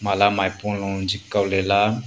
mala maipua lo jikko Lela.